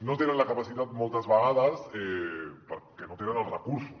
no en tenen la capacitat moltes vegades perquè no tenen els recursos